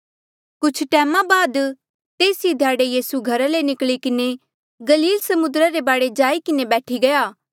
कुछ टैमा बाद तेस ई ध्याड़े यीसू घरा ले निकली किन्हें गलील समुद्रा रे बाढे जाई किन्हें बैठी गया